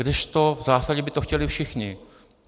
Kdežto v zásadě by to chtěli všichni.